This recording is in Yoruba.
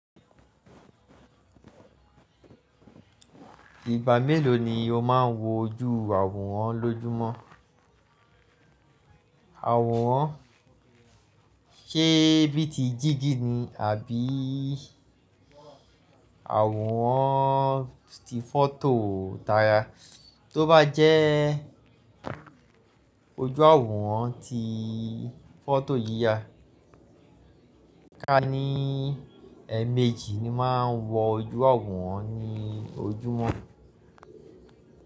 Ìgbà mélòó ni o máà ń wo ojú àwòrán lójúmọ́? Àwòrán ṣe bí i ti jígí ni àbí àwòrán ti fọ́tò dára? Tóbá jẹ́ ojú àwòrán ti fọ́tò yíya, ká ní èèmejì ni màá ń wo ojú àwòrán ní ojúmọ́.